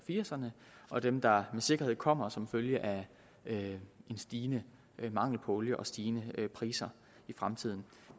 firserne og dem der med sikkerhed kommer som følge af en stigende mangel på olie og stigende priser i fremtiden